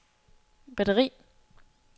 batteri